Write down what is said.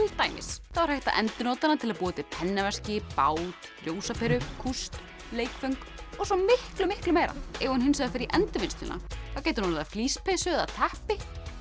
dæmis er hægt að endurnota hana til að búa til pennaveski bát ljósaperu kúst leikföng og svo miklu miklu meira ef hún hins vegar fer í Endurvinnsluna þá getur hún orðið að flíspeysu eða teppi